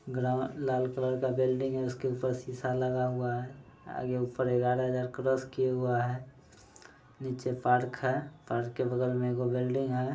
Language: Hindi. ग्राउन लाल कलर का बेल्डिंग है उस के ऊपर शिशा लगा हुआ है आगे ऊपर इग्यारा हजार क्रॉस किया हुआ है नीचे पार्क है पार्क के बग़ल में एगो बेल्डिंग है।